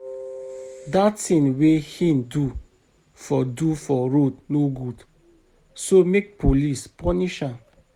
Dat thing wey he do for do for road no good so make police punish am